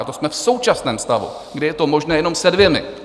A to jsme v současném stavu, kdy je to možné jenom se dvěma.